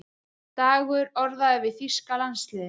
Dagur orðaður við þýska landsliðið